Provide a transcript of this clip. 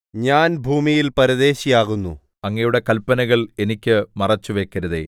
ഞാൻ ഭൂമിയിൽ പരദേശിയാകുന്നു അങ്ങയുടെ കല്പനകൾ എനിക്ക് മറച്ചുവയ്ക്കരുതേ